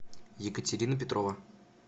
екатерина петрова